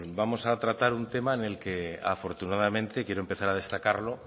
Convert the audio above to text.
vamos a tratar un tema en el que afortunadamente quiero empezar a destacarlo